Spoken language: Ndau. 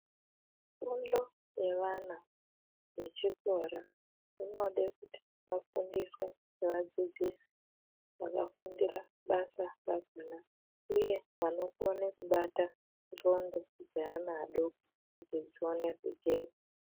Fundo yevana vechikora inode kuti vafundiswe nevadzidzisi vakafundira basa rakona uye vanokone kubata ndxondo dzeana adoko kuti dzione kujeka.